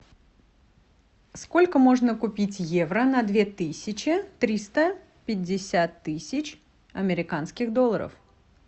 сколько можно купить евро на две тысячи триста пятьдесят тысяч американских долларов